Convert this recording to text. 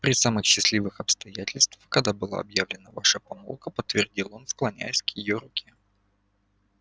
при самых счастливых обстоятельствах когда была объявлена ваша помолвка подтвердил он склоняясь к её руке